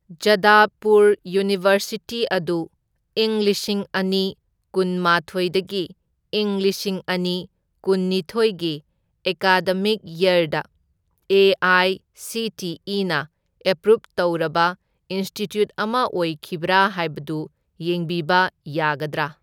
Jadavpur university ꯑꯗꯨ ꯢꯪ ꯂꯤꯁꯤꯡ ꯑꯅꯤ ꯀꯨꯝꯃꯥꯊꯣꯢꯗꯥꯒꯤ ꯂꯤꯁꯤꯡ ꯑꯅꯤ ꯀꯨꯟꯅꯤꯊꯣꯢꯒꯤ ꯑꯦꯀꯥꯗꯃꯤꯛ ꯌꯔꯗ ꯑꯦ.ꯑꯥꯏ.ꯁꯤ.ꯇꯤ.ꯏ.ꯅ ꯑꯦꯄ꯭ꯔꯨꯞ ꯇꯧꯔꯕ ꯏꯟꯁꯇꯤꯇ꯭ꯌꯨꯠ ꯑꯃ ꯑꯣꯏꯈꯤꯕ꯭ꯔꯥ ꯍꯥꯏꯕꯗꯨ ꯌꯦꯡꯕꯤꯕ ꯌꯥꯒꯗ꯭ꯔꯥ?